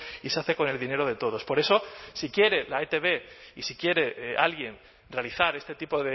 y se hace con el dinero de todos por eso si quiere la etb y si quiere alguien realizar este tipo